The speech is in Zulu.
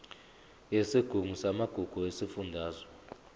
yesigungu samagugu sesifundazwe